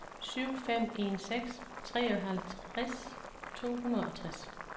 syv fem en seks treoghalvtreds to hundrede og tres